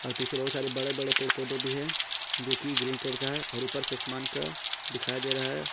और पीछे बहोत सारे बड़े बड़े पेड़ पौधे भी हैं जोकि ग्रीन कलर का है और ऊपर से आसमान का दिखाई दे रहा है।